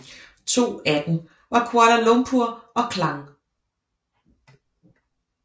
To af dem var Kuala Lumpur og Klang